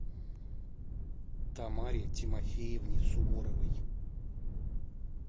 тамаре тимофеевне суворовой